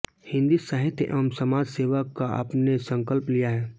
हिन्दी साहित्य एवं समाज सेवा का आपने संकल्प लिया है